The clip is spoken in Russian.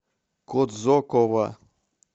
кодзокова